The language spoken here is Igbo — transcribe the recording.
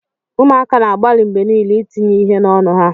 Ụmụaka na-agbalị mgbe niile itinye ihe n'ọnụ ha.